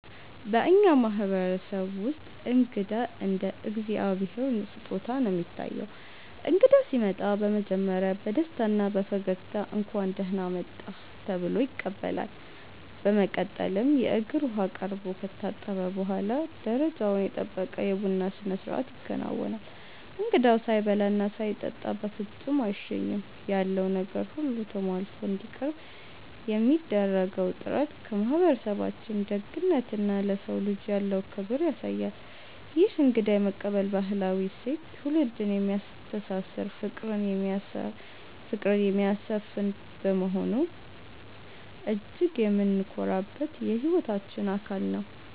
በእኛ ማህበረሰብ ውስጥ እንግዳ እንደ እግዚአብሔር ስጦታ ነው የሚታየው። እንግዳ ሲመጣ በመጀመሪያ በደስታና በፈገግታ 'እንኳን ደህና መጣህ' ተብሎ ይቀበላል። በመቀጠልም የእግር ውሃ ቀርቦ ከታጠበ በኋላ፣ ደረጃውን የጠበቀ የቡና ስነስርዓት ይከናወናል። እንግዳው ሳይበላና ሳይጠጣ በፍጹም አይሸኝም። ያለው ነገር ሁሉ ተሟልቶ እንዲቀርብ የሚደረገው ጥረት የማህበረሰባችንን ደግነትና ለሰው ልጅ ያለውን ክብር ያሳያል። ይህ እንግዳ የመቀበል ባህላዊ እሴት ትውልድን የሚያስተሳስርና ፍቅርን የሚያሰፍን በመሆኑ እጅግ የምንኮራበት የህይወታችን አካል ነው።